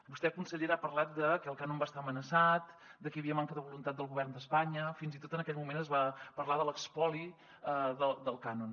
vostè consellera ha parlat de que el cànon va estar amenaçat de que hi havia manca de voluntat del govern d’espanya fins i tot en aquell moment es va parlar de l’espoli del cànon